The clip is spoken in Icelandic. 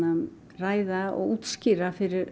ræða og útskýra fyrir